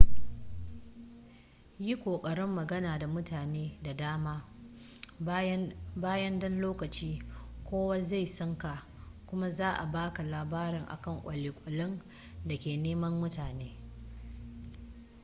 yi ƙoƙarin magana da mutane da dama bayan ɗan lokaci kowa zai san ka kuma za a baka labari akan kwale-kwalen da ke neman mutum